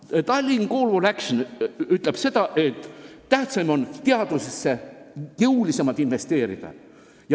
"The Tallinn Call for Action'is" on kirjas, et tähtis on teadusesse jõulisemalt investeerida.